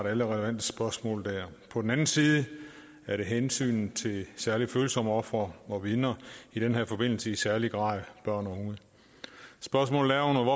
alle relevante spørgsmål på den anden side er der hensynet til særligt følsomme ofre og vidner i den her forbindelse i særlig grad børn og unge spørgsmålet er under